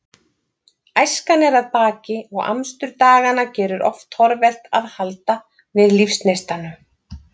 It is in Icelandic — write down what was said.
Æskan er að baki og amstur daganna gerir oft torvelt að halda við lífsneistanum.